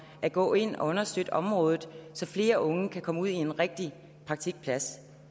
at gå ind og understøtte området så flere unge kan komme ud på en rigtig praktikplads